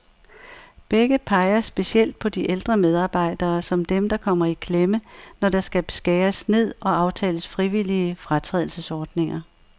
Begge peger specielt på de ældre medarbejdere, som dem, der kommer i klemme, når der skal skæres ned og aftales frivillige fratrædelsesordninger.